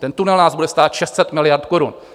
Ten tunel nás bude stát 600 miliard korun.